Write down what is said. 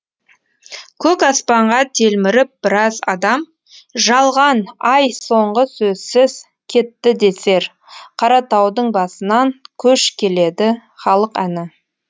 көк аспанға телміріп біраз адам жалған ай соңғы сөзсіз кетті десер қаратаудың басынан көш келеді халық әні